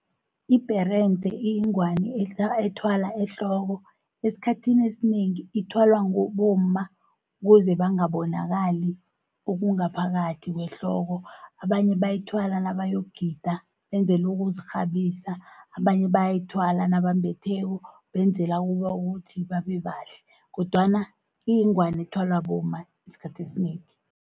Ibherende iyingwani ethwalwa ehloko, esikhathini esinengi ithwalwa bomma kuze bangabonakali okungaphakathi kwehloko. Abanye bayithwala nabayokugida, benzelu ukuzikghabisa. Abanye bayayithwala nabambetheko benzela ukuthi babebahlale, kodwana kuyingwani ithwalwa bomma esikhathini esinengi.